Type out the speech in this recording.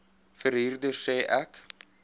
verhuurder sê ek